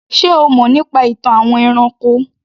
Ṣé o mọ̀ nípa ìtàn àwọn ẹranko?